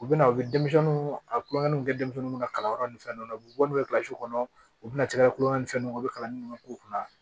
U bɛna u bɛ denmisɛnninw a kulonkɛ denmisɛnw ka kalanyɔrɔ ni fɛnw na u bɛ bɔ n'u ye kɔnɔ u bɛna caya kulonkɛ ni fɛn dɔ ye u bɛ kalan minnu k'u kunna